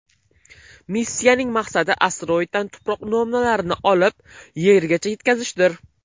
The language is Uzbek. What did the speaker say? Missiyaning maqsadi asteroiddan tuproq namunalarini olib, Yergacha yetkazishdir.